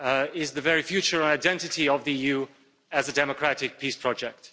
is the very future identity of the EU as a democratic peace project.